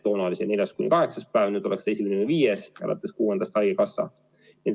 Toona oli see neljandast kuni kaheksanda päevani, nüüd oleksid esimene kuni viies, alates kuuendast haigekassa.